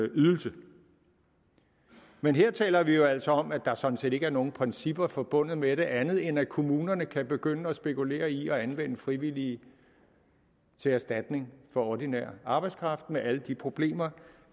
ydelse men her taler vi jo altså om at der sådan set ikke er nogen principper forbundet med det andet end at kommunerne kan begynde at spekulere i at anvende frivillige som erstatning for ordinær arbejdskraft med alle de problemer